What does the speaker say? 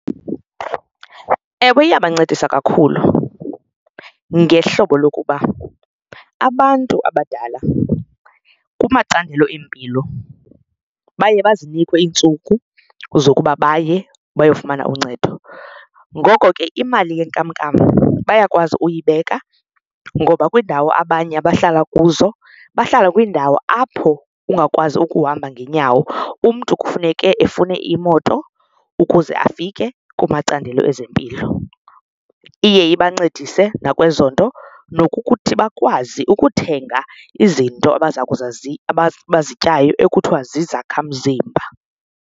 Ewe, iyabancedisa kakhulu ngehlobo lokuba abantu abadala kumacandelo empilo baye bazinikwe iintsuku zokuba baye bayofumana uncedo. Ngoko ke imali yenkamnkam bayakwazi uyibeka ngoba kwiindawo abanye abahlala kuzo bahlala kwiindawo apho ungakwazi ukuhamba ngeenyawo, umntu kufuneke efune imoto kuqala ukuze afike kumacandelo ezempilo, iye ibancedise nakwezo nto nokuthi bakwazi ukuthenga izinto abaza kuza, abaza bazityayo ekuthiwa zizakhamzimba.